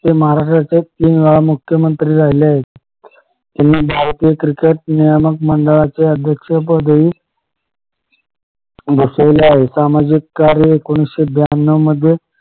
हे महाराष्ट्राच्या तीनवेळा मुख्यमंत्री राहिले आहेत भारतीय क्रिकेट नियमक मंडळाचे अध्यक्ष पदही भूषवले आहेत सामाजिक कार्य एकोणीशे ब्यानव मध्ये